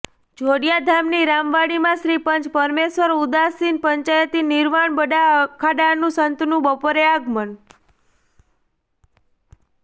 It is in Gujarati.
જોડિયાધામની રામવાડીમાં શ્રી પંચ પરમેશ્વર ઉદાસીન પંચાયતિ નિર્વાણ બડા અખાડાના સંતોનું બપોરે આગમન